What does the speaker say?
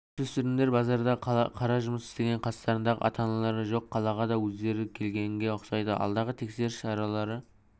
жасөспірімдер базарда қара жұмыс істеген қастарында ата-аналары жоқ қалаға да өздері келгенге ұқсайды алдағы тексеріс шаралары